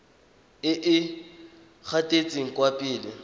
e e gatetseng kwa pele